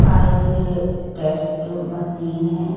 Eyes test machine हैं।